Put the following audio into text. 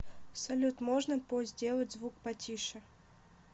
салют можно по сделать звук по тише